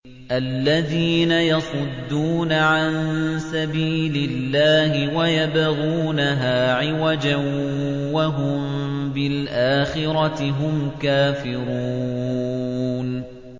الَّذِينَ يَصُدُّونَ عَن سَبِيلِ اللَّهِ وَيَبْغُونَهَا عِوَجًا وَهُم بِالْآخِرَةِ هُمْ كَافِرُونَ